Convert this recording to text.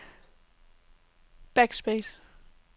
backspace